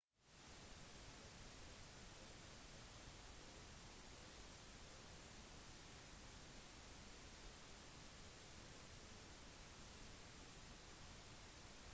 hvert tempel hadde et åpent gårdsplass og et indre fristed som bare prestene kunne gå inn i